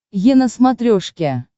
е на смотрешке